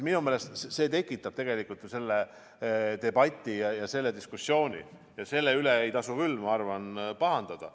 Minu meelest see tekitab debati, diskussiooni, ja selle üle ei tasu küll, ma arvan, pahandada.